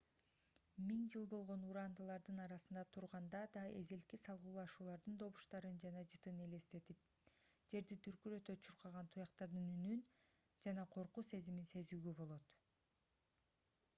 миң жыл болгон урандылардын арасында турганда да эзелки салгылашуулардын добуштарын жана жытын элестетип жерди дүркүрөтө чуркаган туяктардын үнүн жана коркуу сезимин сезүүгө болот